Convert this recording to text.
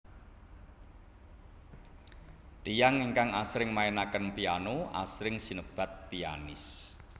Tiyang ingkang asring mainaken piano asring sinebat pianis